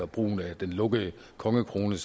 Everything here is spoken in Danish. bruge den lukkede kongekrone